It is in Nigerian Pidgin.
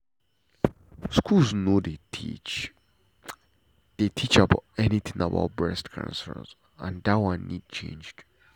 school no dey teach dey teach anything about breast cancer and that one need change.